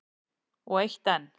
Og eitt enn.